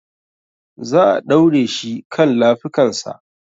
Zaa daure shi kan lafikan sa